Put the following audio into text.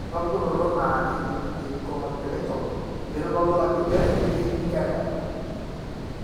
Ore enapukunoto naa keicongenital, eitodolu nchere keini inkera eeta.